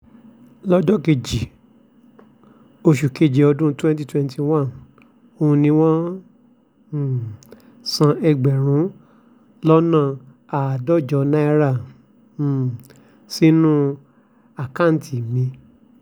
lọ́jọ́ kejì oṣù keje ọdún twenty twenty one ọ̀hún ni wọ́n um san ẹgbẹ̀rún lọ́nà àádọ́jọ náírà um sínú àkáǹtì mi